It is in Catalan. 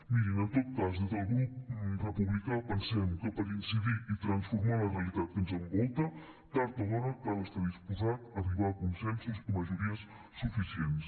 mirin en tot cas des del grup republicà pensem que per incidir i transformar la realitat que ens envolta tard o d’hora cal estar disposat a arribar a consensos i majories suficients